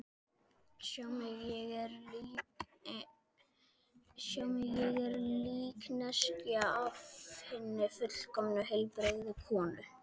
Sjáðu mig, ég er líkneskja af hinni fullkomnu, heilbrigðu konu.